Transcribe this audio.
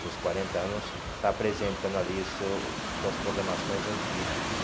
Seus quarenta anos, está apresentando ali seus suas programações antigas.